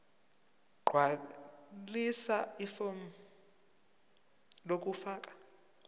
gqwalisa ifomu lokufaka